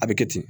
A bɛ kɛ ten